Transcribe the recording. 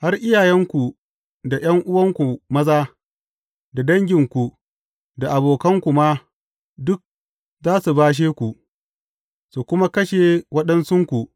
Har iyayenku, da ’yan’uwanku maza, da danginku, da abokanku ma, duk za su bashe ku, su kuma kashe waɗansunku.